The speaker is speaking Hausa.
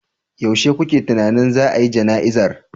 Yaushe kuke tunanin za a yi jana'izar